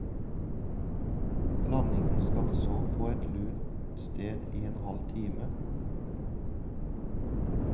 Blandingen skal så på et lunt sted i en halv time.